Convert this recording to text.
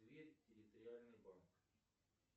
тверь территориальный банк